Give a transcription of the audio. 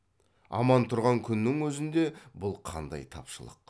аман тұрған күннің өзінде бұл қандай тапшылық